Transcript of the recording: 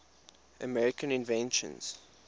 american inventions